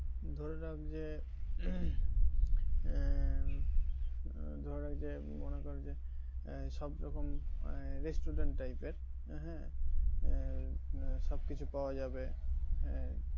ধরে রাখ যে আহ আহ ধরে রাখ যে মনে কর যে আহ সব রকম যে restaurant type এর হ্যাঁ আহ সবকিছু পাওয়া যাবে হ্যাঁ,